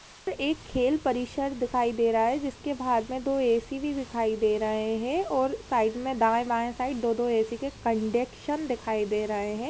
एक खेल परिषद दिखाई दे रहा है जिसके बाहर मे दो एसी भी दिखाई दे रहे है और साइड मे दाई बाई साइड दो दो एसी के कंडेक्शन दिखाई दे रहे है।